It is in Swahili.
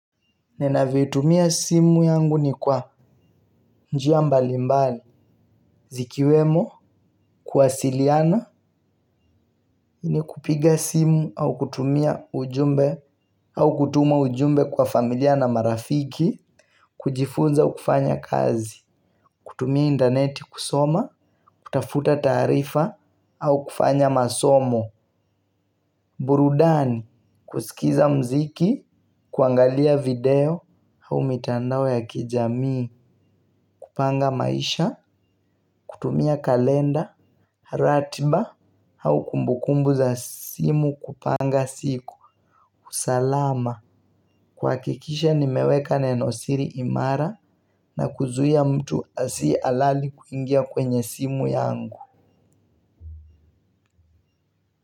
Ninavyo itumia simu yangu ni kwa njia mbalimbali. Zikiwemo, kuwasiliana, ni kupiga simu au kutumia ujumbe. Au kutuma ujumbe kwa familia na marafiki. Kujifunza au kufanya kazi. Kutumia intaneti kusoma. Kutafuta taarifa. Au kufanya masomo. Burudani. Kusikiliza muziki. Kuangalia video au mitandao ya kijamii. Kupanga maisha. Kutumia kalenda, ratiba. Au kumbukumbu za simu kupanga siku. Salama. Kuhakikisha nimeweka nenosiri imara na kuzuia mtu asiye halali kuingia kwenye simu yangu.